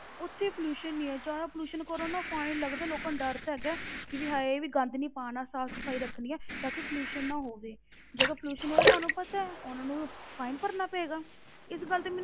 ਉੱਥੇ pollution ਨਹੀਂ ਹੈ ਜ਼ਿਆਦਾ pollution ਕਰੋ ਨਾ fine ਲੱਗਦਾ, ਲੋਕਾਂ ਨੂੰ ਡਰ ਤਾਂ ਹੈਗਾ ਹੈ ਕਿ ਵੀ ਹਾਏ ਵੀ ਗੰਦ ਨੀ ਪਾਉਣਾ, ਸਾਫ਼ ਸਫ਼ਾਈ ਰੱਖਣੀ ਹੈ ਤਾਂ ਕਿ pollution ਨਾ ਹੋਵੇ ਜੇ ਕੋਈ pollution ਹੋਏਗਾ ਉਹਨਾਂ ਨੂੰ ਪਤਾ ਹੈ, ਉਹਨਾਂ ਨੂੰ fine ਭਰਨਾ ਪਏਗਾ, ਇਸ ਗੱਲ ਤੇ ਮੈਨੂੰ